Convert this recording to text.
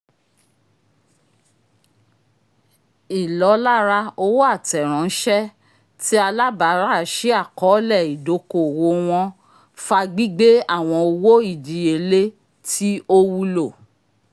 ìlọ́lára owo atẹ rán ṣẹ ti alábara si akọọlẹ idoko-owo wọn fà gbígbé awọn owó ìdíyelé tí o wúlò